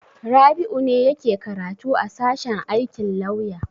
Rabi'u ne yake karatu a sashen aikin lauya.